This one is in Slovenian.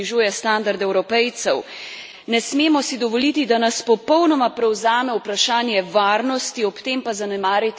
Ne smemo si dovoliti, da nas popolnoma prevzame vprašanje varnosti, ob tem pa zanemariti skrb za zasebnost Evropejcev.